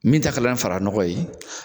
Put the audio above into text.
Min ta kɛla ni fara nɔgɔ ye